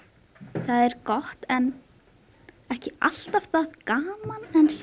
það er gott en ekki alltaf það gaman